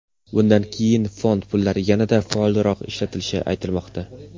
Bundan keyin fond pullari yanada faolroq ishlatilishi aytilmoqda.